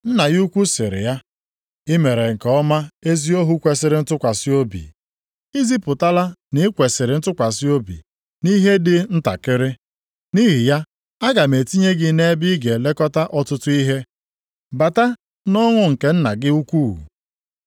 “Nna ya ukwu sịrị ya, ‘I mere nke ọma ezi ohu kwesiri ntụkwasị obi. I zipụtala na i kwesiri ntụkwasị obi nʼihe dị ntakịrị. Nʼihi ya aga m etinye gị nʼebe ị ga-elekọta ọtụtụ ihe. Bata nʼọṅụ nke nna gị ukwu.’